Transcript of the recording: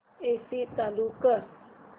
AC चालू कर